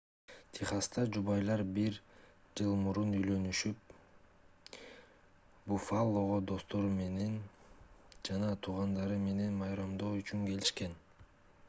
техаста жубайлар бир жыл мурун үйлөнүшүп буффалого достору жана туугандары менен майрамдоо үчүн келишкен